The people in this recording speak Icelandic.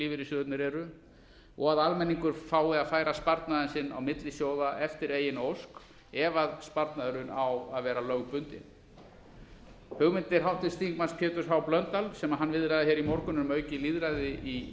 lífeyrissjóðirnir eru og að almenningur fái að færa sparnaðinn sinn á milli sjóða eftir eigin ósk ef sparnaðurinn á að vera lögbundinn hugmyndir háttvirtur þingmaður péturs h blöndals sem hann viðraði hér í morgun um aukið lýðræði í